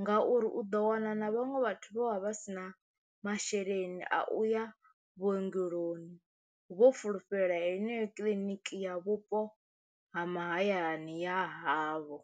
ngauri u ḓo wana na na vhaṅwe vhathu vho vha vha si na masheleni a uya vhuongeloni vho fulufhela heneyo kiḽiniki ya vhupo ha mahayani a havho.